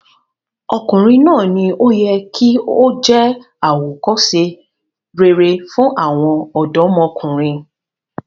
Ọkùnrin náà ni ó yẹ kí ó jẹ́ àwòkọ́se rere fún àwọn ọ̀dọ́mọkùnrin.